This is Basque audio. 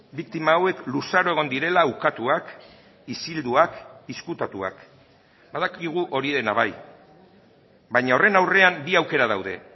biktima hauek luzaro egon direla ukatuak isilduak ezkutatuak badakigu hori dena bai baina horren aurrean bi aukera daude